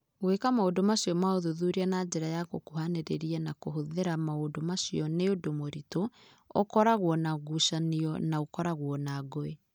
Gwĩka maũndũ ma ũthuthuria na njĩra ya gũkuhanĩrĩria na kũhũthĩra maũndũ macio nĩ ũndũ mũritũ, ũkoragwo na ngucanio, na ũkoragwo na ngũĩ!